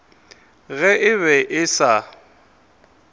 ge e be e sa